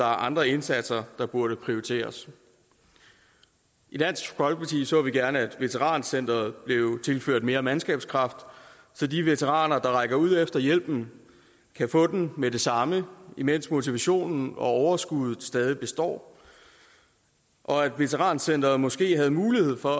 andre indsatser der burde prioriteres i dansk folkeparti ser vi gerne at veterancenteret bliver tilført mere mandskab så de veteraner der rækker ud efter hjælpen kan få den med det samme imens motivationen og overskuddet stadig består og at veterancenteret måske havde mulighed for